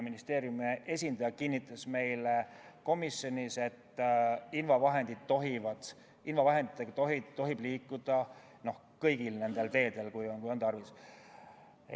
Ministeeriumi esindaja kinnitas meile komisjonis, et invavahenditega tohib liikuda kõigil nendel teedel, kui on tarvis.